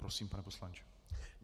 Prosím, pane poslanče.